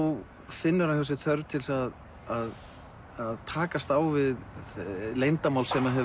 finnur hann hjá sér þörf til að takast á við leyndarmál sem hefur